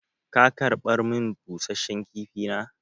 Ka karɓar min busashen kifi na?